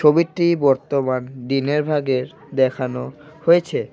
ছবিটি বর্তমান দিনের ভাগের দেখানো হয়েছে।